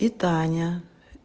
и таня